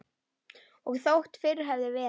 Og þótt fyrr hefði verið.